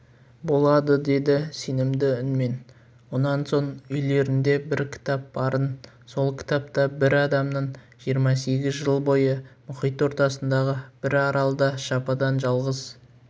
болады деді сенімді үнмен онан соң үйлеріңде бір кітап барын сол кітапта бір адамның жиырма сегіз жыл бойы мұхит ортасындағы бір аралда жападан-жалғыз